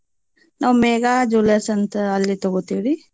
ನಾವ್ ಮೇಘಾ jewellers ಅಂತ ಅಲ್ಲೆ ತಗೋತೇವ್ರಿ.